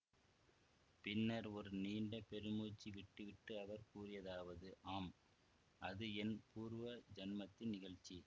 பின்னர் ஒரு நீண்ட பெருமூச்சு விட்டு விட்டு அவர் கூறியதாவது ஆம் அது என் பூர்வ ஜென்மத்தின் நிகழ்ச்சி